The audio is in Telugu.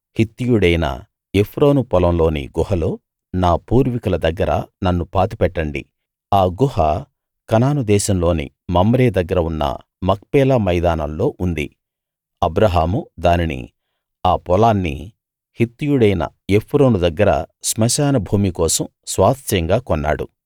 హిత్తీయుడైన ఎఫ్రోను పొలంలోని గుహలో నా పూర్వీకుల దగ్గర నన్ను పాతిపెట్టండి ఆ గుహ కనాను దేశంలోని మమ్రే దగ్గర ఉన్న మక్పేలా మైదానంలో ఉంది అబ్రాహాము దానినీ ఆ పొలాన్నీ హిత్తీయుడైన ఎఫ్రోను దగ్గర శ్మశాన భూమి కోసం స్వాస్థ్యంగా కొన్నాడు